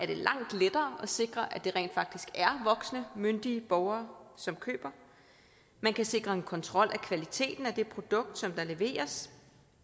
det langt lettere at sikre at det rent faktisk er voksne myndige borgere som køber man kan sikre en kontrol af kvaliteten af det produkt der leveres